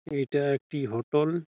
এইটা একটি হোটেল ।